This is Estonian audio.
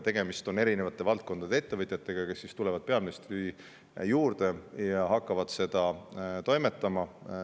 Tegemist on eri valdkondade ettevõtjatega, kes tulevad peaministri juurde ja hakkavad selle kallal toimetama.